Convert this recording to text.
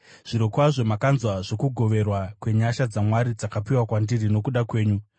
Zvirokwazvo makanzwa zvokugoverwa kwenyasha dzaMwari dzakapiwa kwandiri nokuda kwenyu,